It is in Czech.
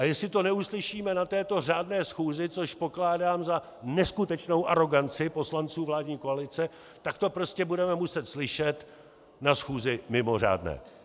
A jestli to neuslyšíme na této řádné schůzi, což pokládám za neskutečnou aroganci poslanců vládní koalice, tak to prostě budeme muset slyšet na schůzi mimořádné.